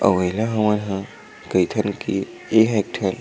अऊ एला हमन ह कईथन की एह एक ठन--